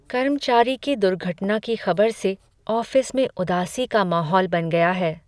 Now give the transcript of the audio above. कर्मचारी की दुर्घटना की खबर से ऑफिस में उदासी का माहौल बन गया है।